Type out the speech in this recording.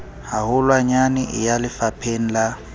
haholwanyane e ya lefapheng la